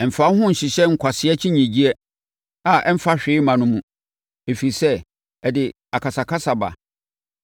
Mfa wo ho nhyehyɛ nkwasea akyinnyeɛ a ɛmfa hwee mma no mu, ɛfiri sɛ, ɛde akasakasa ba.